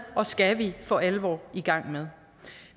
og skal vi for alvor i gang med